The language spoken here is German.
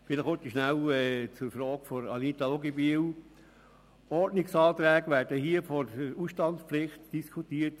Wir diskutieren hier Ordnungsanträge, die die Ausstandspflicht betreffen.